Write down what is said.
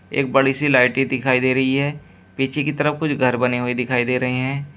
एक बड़ी सी लाइटें दिखाई दे रही है पीछे की तरफ कुछ घर बने हुए दिखाई दे रहे हैं।